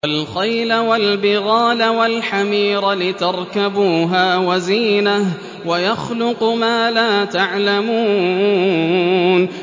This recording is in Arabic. وَالْخَيْلَ وَالْبِغَالَ وَالْحَمِيرَ لِتَرْكَبُوهَا وَزِينَةً ۚ وَيَخْلُقُ مَا لَا تَعْلَمُونَ